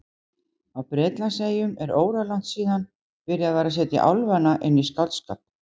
Á Bretlandseyjum er óralangt síðan byrjað var að setja álfana inn í skáldskap.